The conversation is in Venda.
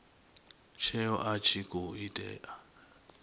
tsheo a tshi khou itela